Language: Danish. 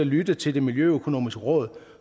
lytte til det miljøøkonomiske råd